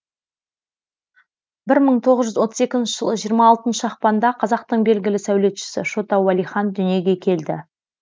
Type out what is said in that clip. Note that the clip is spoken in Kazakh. бір мың тоғыз жүз отыз екінші жылы жиырма алтыншы ақпанда қазақтың белгілі сәулетшісі шота уәлихан дүниеге келді